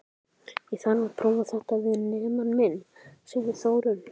Ég þarf að prófa þetta við nemann minn, segir Þórunn.